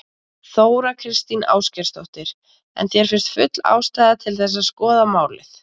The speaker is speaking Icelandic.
Þóra Kristín Ásgeirsdóttir: En þér finnst full ástæða til að skoða málið?